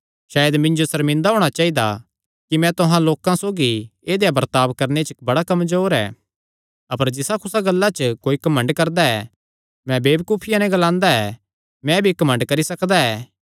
सायद मिन्जो सर्मिंदा होणा चाइदा कि मैं तुहां लोकां सौगी ऐदेया बर्ताब करणे च बड़ा कमजोर ऐ अपर जिसा कुसा गल्ला च कोई घमंड करदा ऐ मैं वेबकूफिया नैं ग्लांदा ऐ मैं भी घमंड करी सकदा ऐ